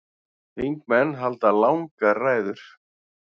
Þingmenn halda langar ræður.